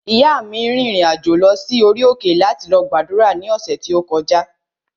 Ìyáa mi rìnrìn-àjò lọ sí orí òkè láti lọ gbàdúrà ní ọ̀sẹ̀ tí ó kọjá